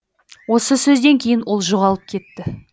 осы сөзден кейін ол жоғалып кетті